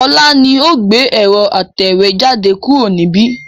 Ọlá ni ó gbé ẹ̀rọ atẹ̀wẹ́jade kúrò níbi